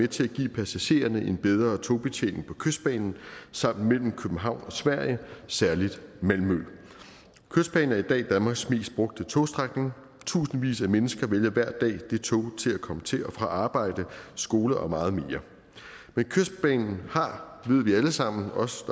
til at give passagererne en bedre togbetjening på kystbanen samt mellem københavn og sverige særligt malmø kystbanen er i dag danmarks mest brugte togstrækning tusindvis af mennesker vælger hver dag det tog til at komme til og fra arbejde skole og meget mere men kystbanen har ved vi alle sammen også